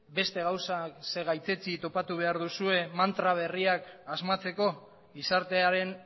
beste gauzak gaitzetsi topatu behar duzue mantra berriak asmatzeko gizartearen